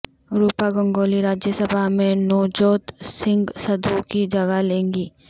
روپا گنگولی راجیہ سبھا میں نوجوت سنگھ سدھو کی جگہ لیں گی